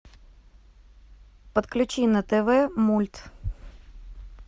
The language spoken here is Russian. подключи на тв мульт